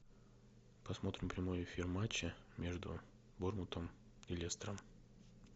посмотрим прямой эфир матча между борнмутом и лестером